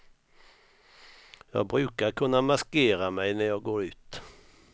Jag brukar kunna maskera mig när jag går ut.